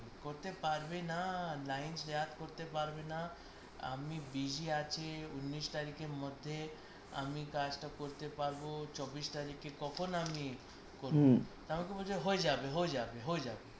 করতে পারবেনা line share করতে পারবে না আমি busy আছি উননিস তারিখের মধ্যে আমি কাজটা কার করতে পারব চব্বিশ তারিখে তখন আমি করব তো আমাকে বলছে হয়ে যাবে হয়ে যাবে হয়ে যাবে